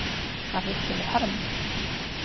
Þar hittum við hermann.